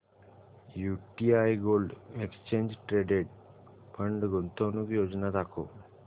UTI gold exchange traded fund गुंतवणूक योजना दाखव